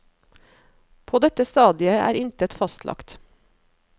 På dette stadiet er intet fastlagt.